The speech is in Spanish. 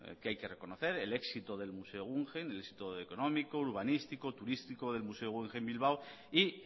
que hay que reconocer el éxito del museo guggenheim el éxito económico urbanístico turístico del museo guggenheim bilbao y